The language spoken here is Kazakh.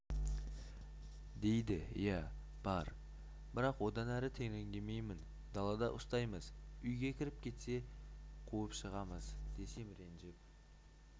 дейді иә бар бірақ одан әрі тереңдемеймін далада ұстаймыз үйге кіріп кетсе қуып шығамыз десем ренжіп